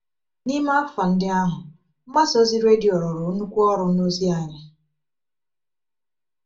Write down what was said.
N’ime afọ ndị ahụ, mgbasa ozi redio rụrụ nnukwu ọrụ n’ozi anyị.